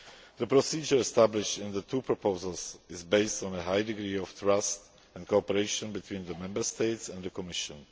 The procedure established in the two proposals is based on a high degree of trust and cooperation between the Member States and the Commission.